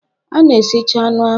A na-esicha anụ ahụ